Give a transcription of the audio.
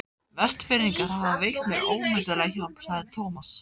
Vestfirðingar hafa veitt mér ómetanlega hjálp sagði Thomas.